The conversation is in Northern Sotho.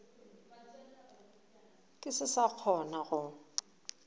ke se sa kgona go